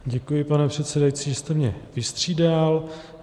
Děkuji, pane předsedající, že jste mě vystřídal.